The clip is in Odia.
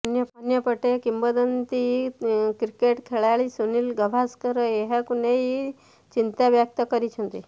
ଅନ୍ୟପଟେ କିମ୍ବଦନ୍ତି କ୍ରିକେଟ୍ ଖେଳାଳି ସୁନିଲ ଗାଭାସ୍କର ଏହାକୁ ନେଇ ଚିନ୍ତାବ୍ୟକ୍ତ କରିଛନ୍ତି